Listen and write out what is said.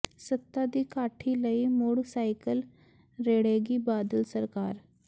ਸੱਤਾ ਦੀ ਕਾਠੀ ਲਈ ਮੁਡ਼ ਸਾਈਕਲ ਰੇਡ਼੍ਹੇਗੀ ਬਾਦਲ ਸਰਕਾਰ